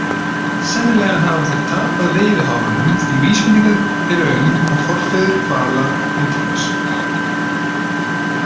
Sennilega hafa þeir tapað veiðihárunum því vísbendingar eru um að forfeður hvala nútímans.